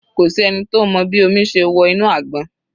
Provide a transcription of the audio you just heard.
Kò sí ẹni tó mọ bí omi ṣe wọ inú àgbọn.